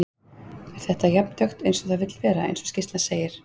Er þetta jafn dökkt eins og það vill vera, eins og skýrslan segir?